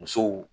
Musow